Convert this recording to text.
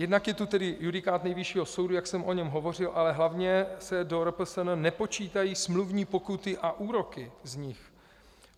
Jednak je tu tedy judikát Nejvyššího sodu, jak jsem o něm hovořil, ale hlavně se do RPSN nepočítají smluvní pokuty a úroky z nich.